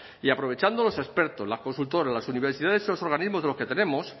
y aprovechando los expertos las consultoras las universidades y los organismos de los que tenemos